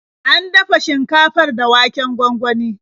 An dafa shinkafar da waken gwangwani.